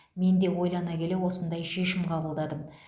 мен де ойлана келе осындай шешім қабылдадым